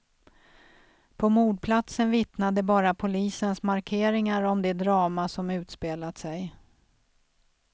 På mordplatsen vittnade bara polisens markeringar om det drama som utspelat sig.